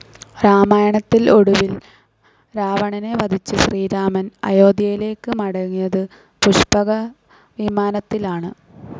രാമായണത്തിൽ ഒടുവിൽ രാവണനെ വധിച്ച ശ്രീരാമൻ അയോധ്യയിലേക്ക് മടങ്ങിയതും പുഷ്പകവിമാനത്തിലാണ്.